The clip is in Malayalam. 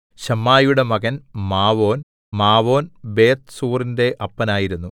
ശമ്മായിയുടെ മകൻ മാവോൻ മാവോൻ ബേത്ത്സൂറിന്റെ അപ്പനായിരുന്നു